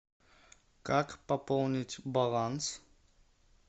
как пополнить баланс